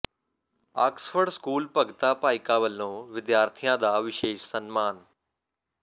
Oxford school Bhagta Bhaika ਵੱਲੋਂ ਵਿਦਿਆਰਥੀਆਂ ਦਾ ਵਿਸ਼ੇਸ਼ ਸਨਮਾਨ